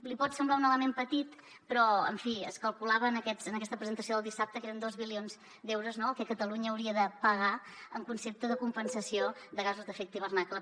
li pot semblar un element petit però en fi es calculava en aquesta presentació del dissabte que eren dos bilions d’euros no el que catalunya hauria de pagar en concepte de compensació de gasos d’efecte hivernacle